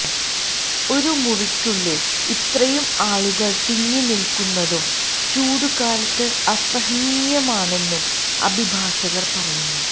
ഒരു മുറിക്കുള്ളിൽ ഇത്രയും ആളുകൾ തിങ്ങിനിൽക്കുന്നതും ചൂടുകാലത്ത് അസഹനീയമാണെന്നും അഭിഭാഷകർ പറയുന്നു